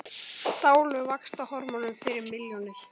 Stálu vaxtarhormónum fyrir milljónir